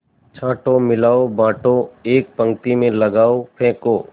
छाँटो मिलाओ बाँटो एक पंक्ति में लगाओ फेंको